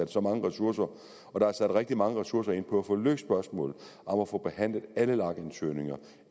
så mange ressourcer og der er sat rigtig mange ressourcer ind på at få løst spørgsmålet om at få behandlet alle ansøgninger